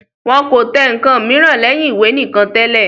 Wọn kò tẹ ǹkan mìíràn lẹ́yìn ìwé nìkan tẹ́lẹ̀